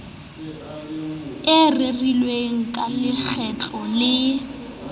e rerilweng ka lekgetlo le